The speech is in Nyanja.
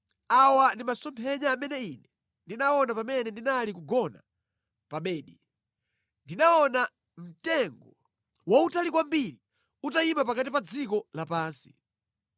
Awa ndi masomphenya amene ine ndinaona pamene ndinali kugona pa bedi: Ndinaona, mtengo wautali kwambiri utayima pakati pa dziko lapansi.